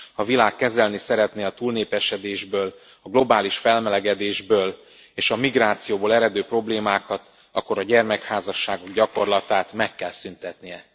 Ha a világ kezelni szeretné a túlnépesedésből, a globális felmelegedésből és a migrációból eredő problémákat, akkor a gyermekházasságok gyakorlatát meg kell szüntetnie.